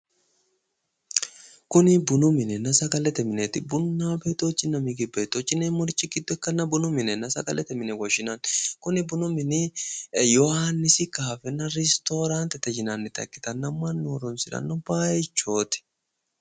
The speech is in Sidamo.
Kuni bununna sagalete mineeti bununna migib betoch yineemmorichi giddo ikkanna bununna sagalete mine yine woshshinanni. Kuni bunu mini yohaannisi kaafenna ristooraantete yinanniha ikkanna mannu horoonsiranno baaychooti.